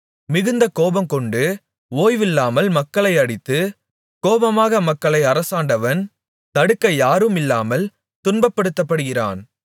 மிகுந்த கோபங்கொண்டு ஓய்வில்லாமல் மக்களை அடித்து கோபமாக மக்களை அரசாண்டவன் தடுக்க யாருமில்லாமல் துன்பப்படுத்தப்படுகிறான்